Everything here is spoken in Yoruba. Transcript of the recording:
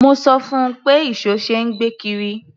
Mo sọ fún un pé ìṣó ṣe é gbé kiri.